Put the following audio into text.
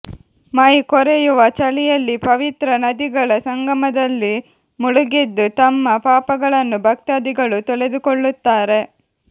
ಮೈ ಕೊರೆಯುವ ಚಳಿಯಲ್ಲಿ ಪವಿತ್ರ ನದಿಗಳ ಸಂಗಮದಲ್ಲಿ ಮುಳುಗೆದ್ದು ತಮ್ಮ ಪಾಪಗಳನ್ನು ಭಕ್ತಾದಿಗಳು ತೊಳೆದುಕೊಳ್ಳುತ್ತಾರೆ